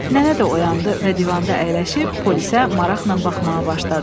Nənə də oyandı və divanda əyləşib polisə maraqla baxmağa başladı.